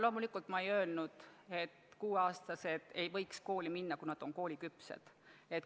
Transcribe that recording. Loomulikult ma ei öelnud, et 6-aastased ei võiks kooli minna, kui nad on kooliküpsed.